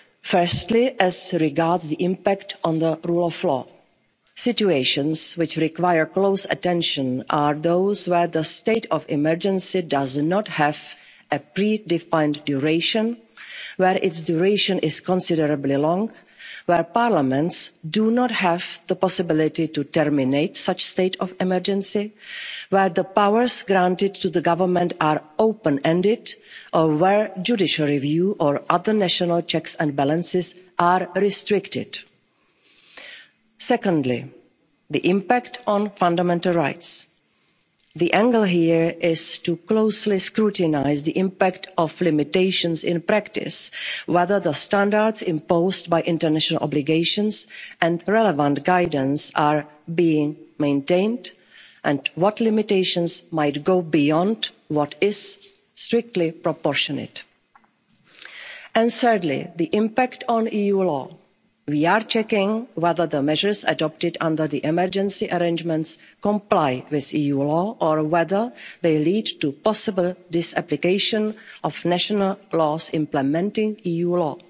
law. Firstly, as regards the impact on the rule of law, situations which require close attention are those where the state of emergency does not have a predefined duration, where its duration is considerably long, where parliaments do not have the possibility to terminate such state of emergency, where the powers granted to the government are open-ended or where judicial review or other national checks and balances are restricted. Secondly, the impact on fundamental rights. The angle here is to closely scrutinise the impact of limitations in practice, whether the standards imposed by international obligations and relevant guidance are being maintained, and what limitations might go beyond what is strictly proportionate. And thirdly, the impact on EU law. We are checking whether the measures adopted under the emergency arrangements comply with EU law or whether they lead to possible disapplication of national laws implementing